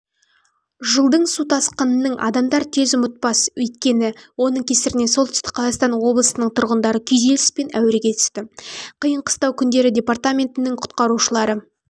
жылдың су тасқының адамдар тез ұмытпас өйткені оның кесірінен солтүстік қазақстан облысының тұрғындары күйзеліс пен әуреге түсті қиын-қыстау күндері департаментінің құтқарушылары